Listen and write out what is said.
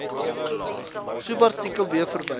subartikel b verwys